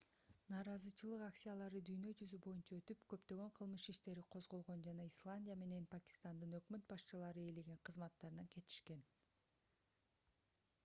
нааразычылык акциялары дүйнө жүзү боюнча өтүп көптөгөн кылмыш иштери козголгон жана исландия менен пакистандын өкмөт башчылары ээлеген кызматтарынан кетишкен